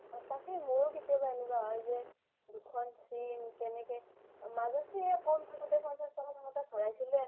সচাকে মইৰো কেতিয়াবা এনেকুৱা হয় যে দুখন SIM কেনেকে মাজতে কম থাকোতে পঞ্চাছ টকা থাকোতে ভৰাইছিলো এ